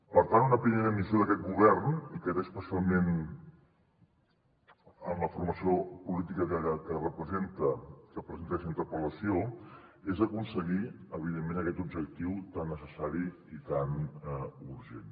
per tant una primera missió d’aquest govern i que té especialment amb la formació política que presenta aquesta interpel·lació és aconseguir evidentment aquest objectiu tan necessari i tan urgent